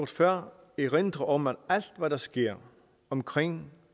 før erindre om at alt hvad der sker omkring